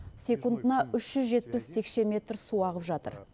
секундына үш жүз жетпіс текше метр су ағып жатыр